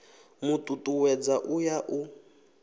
mu tutuwedza u ya u